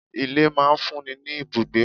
Ilé máa fún mi ni ibùgbé.